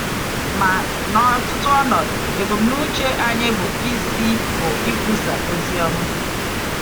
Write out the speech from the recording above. Ma n’ọtụtụ ọnọdụ, ebumnuche anyị bụ isi bụ ikwusa ozi ọma.